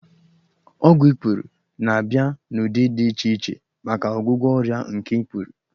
Ọgwụ ikpuru na-abịa n'ụdị dị iche iche maka ọgwụgwọ ọrịa nke ikpuru